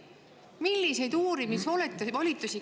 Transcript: Milliseid uurimisvolitusi?!